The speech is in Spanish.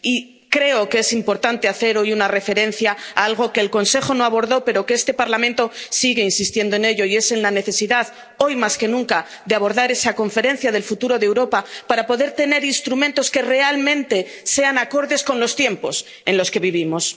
Y creo que es importante hacer hoy una referencia a algo que el Consejo no abordó, pero en lo que este Parlamento sigue insistiendo, y es en la necesidad, hoy más que nunca, de abordar esa Conferencia del Futuro de Europa para poder tener instrumentos que realmente sean acordes con los tiempos en los que vivimos.